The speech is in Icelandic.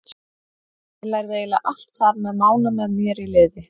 Ég lærði eiginlega allt þar með Mána með mér í liði.